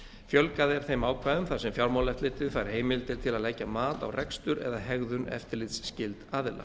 fjölgað er þeim ákvæðum þar sem fjármálaeftirlitið fær heimildir til að leggja mat á rekstur eða hegðun eftirlitsskylds aðila